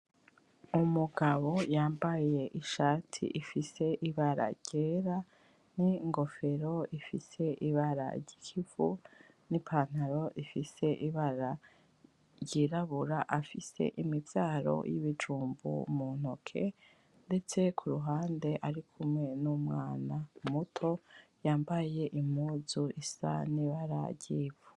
Umugabo yambaye ishati ifise ibara ryera ningofero ifise ibara ryikivu nipantaro ifise ibara ryirabura afise imivyaro yibijumbu muntoke ndetse kuruhande ari kumwe numwana muto yambaye impuzu isa nibara ryivu